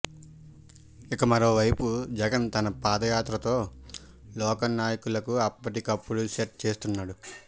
ఇక మరోవైపు జగన్ తన పాదయాత్ర తో లోకల్ నాయకులను అప్పటికప్పుడు సెట్ చేసేస్తున్నాడు